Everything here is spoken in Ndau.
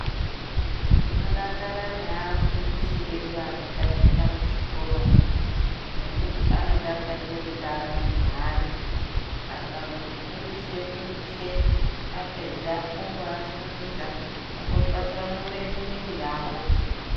Tinodakara neafundisi edu anotaticha muzvikoro umwu nekuti anodakarire utano hweana akamboti funding fundise apedza omboasumudza ombotwasanure miiri yavo.